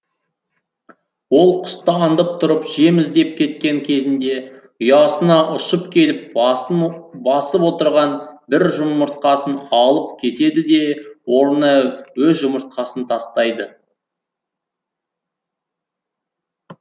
ол құсты андып тұрып жем іздеп кеткен кезінде ұясына ұшып келіп басып отырған бір жұмыртқасын алып кетеді де орнына өз жұмыртқасын тастайды